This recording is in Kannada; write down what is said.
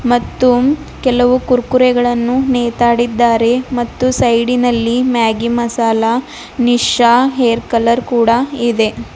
ಮತ್ತು ಕೆಲವು ಕುರ್ಕುರೆಗಳನ್ನು ನೇತಾಡಿದ್ದಾರೆ ಮತ್ತು ಸೈಡಿ ನಲ್ಲಿ Maggi masala Nisha hair colour ಕೂಡ ಇದೆ.